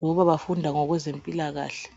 ngoba bafunda ngokwezempilakahle